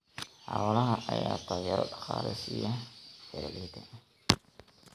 Xoolaha ayaa taageero dhaqaale siiya beeralayda.